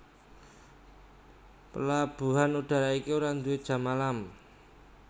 Palabuhan udara iki ora nduwé jam malam